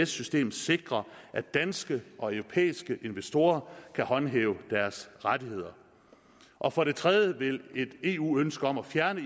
system sikrer at danske og europæiske investorer kan håndhæve deres rettigheder og for det tredje vil et eu ønske om at fjerne